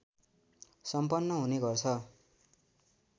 सम्पन हुने गर्छ